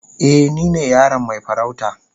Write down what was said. Eh, ni ne yaron mai farauta.